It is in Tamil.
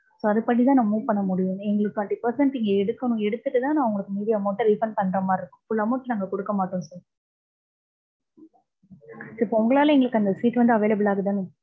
so அது படி தான் நான் move பண்ண முடியும். எங்களுக்கு twenty percent இங்க எடுக்கணும், எடுத்துட்டு தான் நான் உங்களுக்கு மீதி amount அ refund பண்ற மாதிரி இருக்கும். full amount நாங்க குடிக்க மாட்டோம் sir so இப்ப உங்களால அந்த எங்களுக்கு seat available ஆதுதானே.